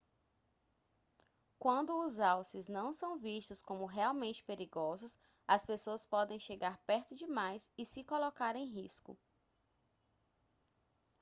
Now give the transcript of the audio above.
quando os alces não são vistos como realmente perigosos as pessoas podem chegar perto demais e se colocar em risco